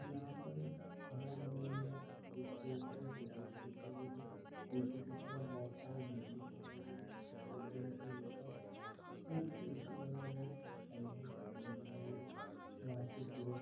यहाँ पर एक खंबा दिखाई दे रहा है जिसके ऊपर एक लाइट दिखाई दे रही है पीछे की तरफ बहुत सारी बिल्डिंग दिखाई दे रही है बिल्डिंग के ऊपर कुछ एसी लगाए गए है साइड में एक सड़क दिखाई दे रही है वाहा से सूरज--